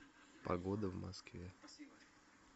погода в москве